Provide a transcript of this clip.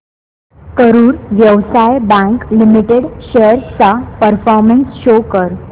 Karur Vysya bank limited shares चा performance show कर